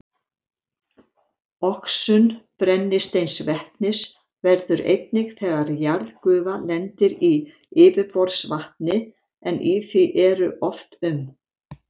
Oxun brennisteinsvetnis verður einnig þegar jarðgufa lendir í yfirborðsvatni, en í því eru oft um